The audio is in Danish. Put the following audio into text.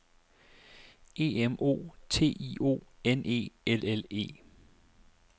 E M O T I O N E L L E